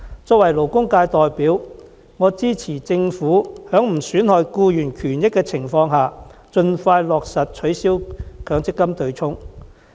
作為勞工界代表，我支持政府在不損害僱員權益的情況下，盡快落實取消強積金對沖機制。